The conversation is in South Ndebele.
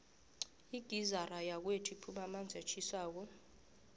igizara yakwethu ikhupha amanzi atjhisako